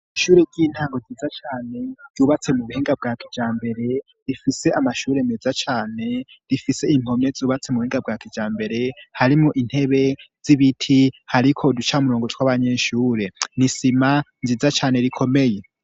Iishure ry'intango nziza cane ryubatse mu buhinga bwa kijambere rifise amashure meza cane rifise impome zubatse mu buhinga bwa kijambere harimo intebe z'ibiti hariko uducamurongo tw'abanyeshure nisima nziza cane rikomeye.